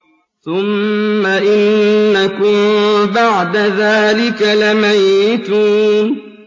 ثُمَّ إِنَّكُم بَعْدَ ذَٰلِكَ لَمَيِّتُونَ